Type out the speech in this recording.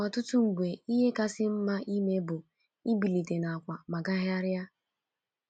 Ọtụtụ mgbe ihe kasị mma ime bụ ibilite n’àkwà ma gagharịa.